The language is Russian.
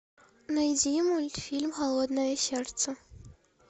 найди мультфильм холодное сердце